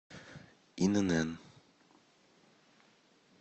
инн